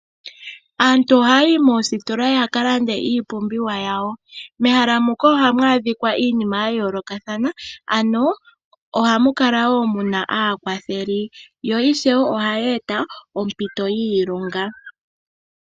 Aantu ohaayi moositola opo yakalande iipumbiwa yawo, moositola ohamu adhika iinima oyindji yayolokathana mo omuna aakwatheli mboka haalongomo ano oositola ohadhi gandja oompito dhiilonga.